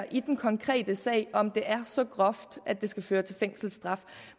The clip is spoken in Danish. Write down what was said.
i den konkrete sag vurdere om det er så groft at det skal føre til fængselsstraf